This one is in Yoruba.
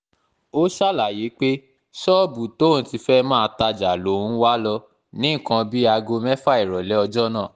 ó ṣàlàyé pé ṣọ́ọ̀bù tóun ti fẹ́ẹ́ máa tajà lòun wá lò ní nǹkan bíi aago mẹ́fà ìrọ̀lẹ́ ọjọ́ náà